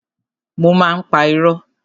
Mo má ń pa irọ́.